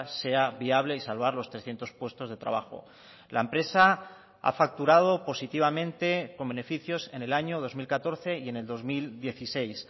sea viable y salvar los trescientos puestos de trabajo la empresa ha facturado positivamente con beneficios en el año dos mil catorce y en el dos mil dieciséis